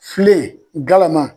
Filen galama.